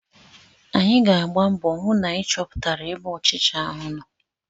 Anyị ga-agba mbọ hụ na anyị chọpụtara ebe ọchịcha ahụ nọ.